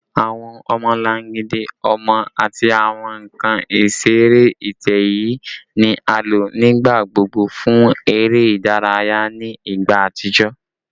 Awọn ọmọlangidi ọmọ ati awọn nkan isere itẹ-ẹiyẹ ni a lo nigbagbogbo fun ere idaraya ni igba atijọ